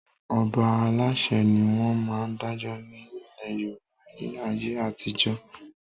Àwọn Ọba Aláṣẹ ni wọn máa ń dájọ́ ni ilé Yorùbá ni ayé àtijọ́